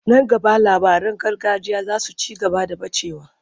Nan gaba labaran gargajiya za su ci gaba da ɓacewa.